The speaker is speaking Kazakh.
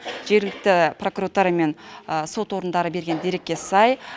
жергілікті прокуратура мен сот орындары берген дерекке сай